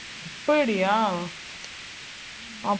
அப்பிடியா அப்~